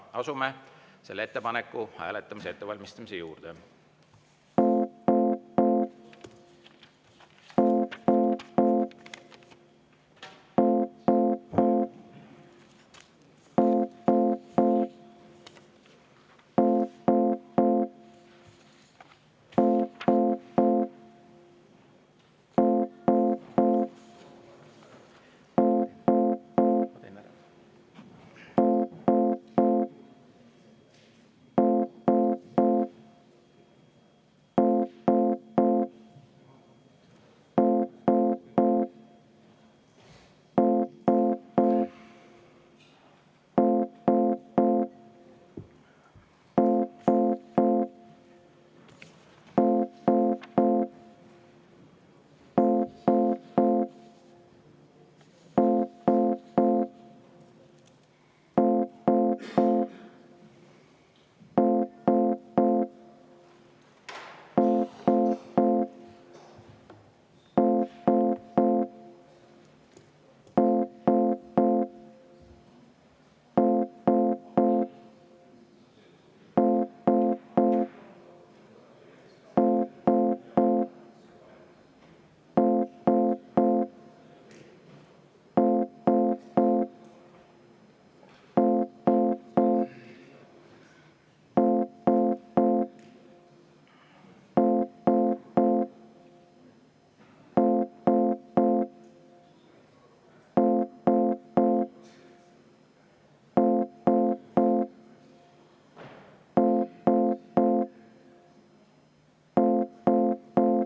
Asume selle ettepaneku hääletamise ettevalmistamise juurde.